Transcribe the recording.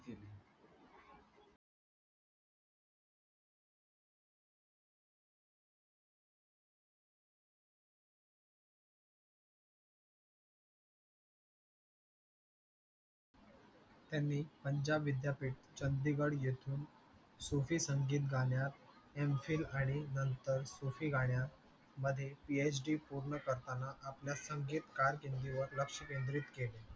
त्यांनी पंजाब विद्यापीठ चंदिगड येथून सोपी संगीत गाण्यात M. phill आणि नंतर सोपी गाण्यात मध्ये p. h. d पूर्ण करताना आपल्या संगीतकार हिंदी वर लक्ष केंद्रित केले